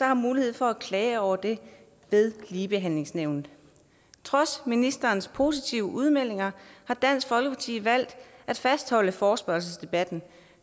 har mulighed for at klage over det ved ligebehandlingsnævnet trods ministerens positive udmeldinger har dansk folkeparti valgt at fastholde forespørgselsdebatten